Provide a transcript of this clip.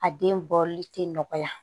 A den bɔli tɛ nɔgɔya